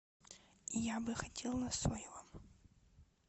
я бы хотел на соевом